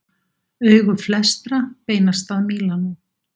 Augu flestra beinast að Mílanó